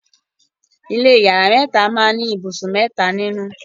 ilé iyàrá mẹta kí ní ibùsùn mẹta nínú.